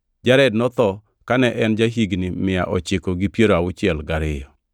Jared notho kane en ja-higni mia ochiko gi piero auchiel gariyo.